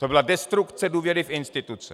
To byla destrukce důvěry v instituce.